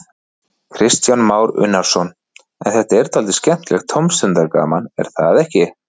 Kristján Már Unnarsson: En þetta er dálítið skemmtilegt tómstundagaman, er það ekki?